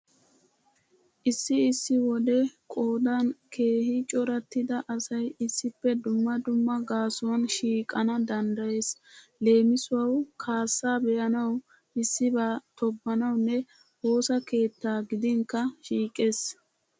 Issi issi wode qoodan keehi corattida asay issippe dumma dumma gaasuwan shiiqana danddayees. Leemisuwawu kaassaa be'anawu, issibaa tobbanawunne woosa keettaa gidinkka shiiqees.